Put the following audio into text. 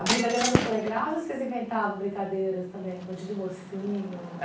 A brincadeira era no Playground ou vocês inventavam brincadeiras também, de do mocinho?